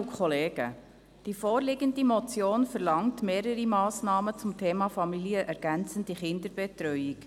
Die vorliegende Motion verlangt mehrere Massnahmen zum Thema familienergänzende Kinderbetreuung.